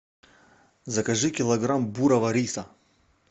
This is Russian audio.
закажи килограмм бурого риса